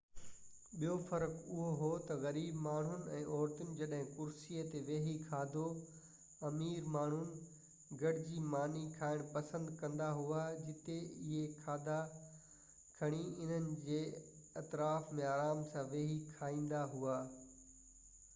ٻيو فرق اهو هو ته غريب ماڻهن ۽ عورتن جڏهن ڪرسي تي ويهي کاڌو امير ماڻهن گڏجي ماني کائڻ پسند ڪندا هئا جتي اهي کاڌا کڻي انهن جي اطراف ۾ آرام سان ويهي کائيندا هئا